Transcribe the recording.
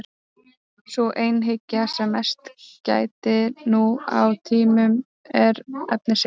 Sú einhyggja sem mest gætir nú á tímum er efnishyggja.